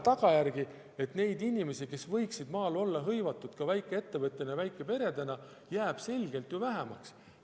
Tagajärg võib olla, et neid inimesi, kes võiksid maal olla hõivatud väikeettevõtjatena ja väikeperedena, jääb vähemaks.